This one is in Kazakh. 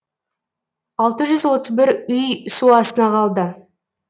алты жүз отыз бір үй су астына қалды